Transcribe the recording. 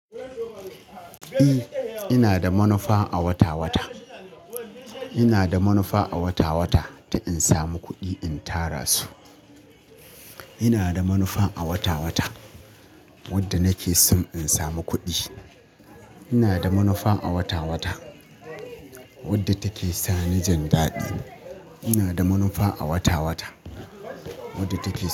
Eh, ina da manufa a wata-wata. Ina da manufa a wata-wata ta in samu kuɗi in tara su. Ina da manufa a wata-wata wadda nake so in samu kuɗi. Ina da manufan a wata-wata wadda take sa ni jan daɗi. Ina da manufa a wata-wata wadda take sa.